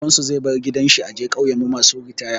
Baban su zai bar gidan shi a je ƙauyan mu masu ritaya.